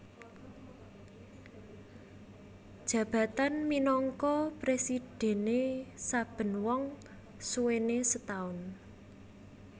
Jabatan minangka presidhène saben wong suwene setaun